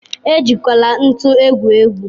ejikwala ntu egwu egwu.